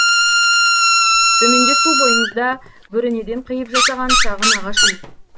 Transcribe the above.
төменде су бойыңызда бөренеден қиып жасаған шағын ағаш үй